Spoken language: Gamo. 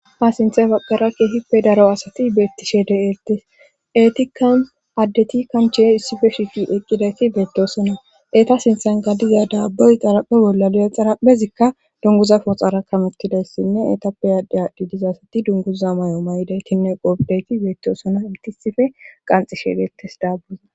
Ha sinthe babbara keehippe daro asati beettishe de eltes eeti kan addeti kanche issife shiqi eqqidayti beettoosona eeta sinthan gadiza daabboy xaraphe bolla li7e xarapphezikka dunguza foxara kamettidayssinne etappe adde adhdi diza asati dunguza may7o may7idaytinne qobdayti beettosona itisife qanxishe deettes daabboza.